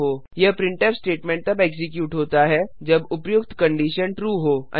यह printf statement तब execute होता है जब उपर्युक्त कंडिशन ट्रू हो